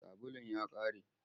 Sabulun ya ƙare.